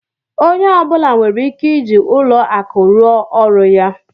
Onye ọ bụla nwere ike ịji ụlọ akụ rụ ọrụ ya